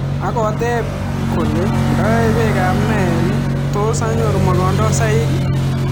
Agoteep kolee ndae peek ap Nile tos anyoruu mogondosaik?